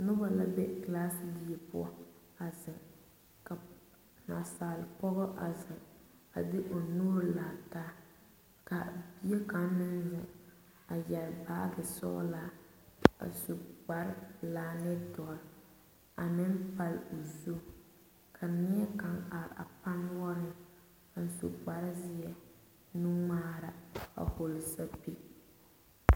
Noba la be kilaasedie poɔ a zeŋ ka nasaale pɔge a zeŋ a de o nuuri lare taa ka bie kaŋa meŋ zeŋ a yɛre baagi sɔglaa a su kpare pelaa ane dɔre a meŋ pale o zu ka neɛkaŋa are a pannoɔreŋ a su kpare zeɛ nuŋmaara a vɔgle sapili.